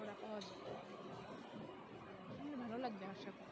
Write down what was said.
পাওয়া যায় যে আহ শুনলে ভালো লাগবে আশা করি